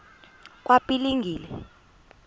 kwaphilingile